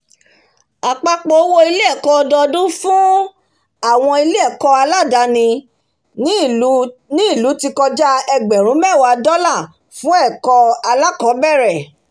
apapọ owó ilé-ẹ̀kọ́ ọdọdún fún àwọn ilé-ẹ̀kọ́ aládàní ní ilú ti kọja egberun mewa dola fún ẹ̀kọ́ alakọbẹrẹ